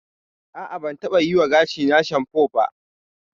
A'a, ban taɓa yiwa gashina shanfo ba.